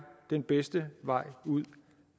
den bedste vej ud